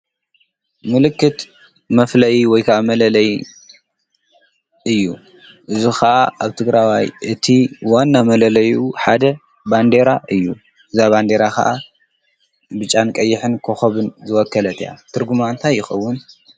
ምልክት መፍለይ ወይከዓ መለለይ እዩ እዙ ኸዓ ኣብቲ ግራዋይ እቲ ወና መለለዩ ሓደ ባንዴራ እዩ እዛ ባንዴራ ኸዓ ብጫን ቀይሕን ክኸብን ዝወከለት እያ ትርጕማ ንታይ ይኸውን?